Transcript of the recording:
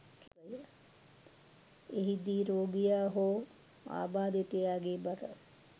එහිදී රෝගියා හෝ ආබාධිතයා ගේ බර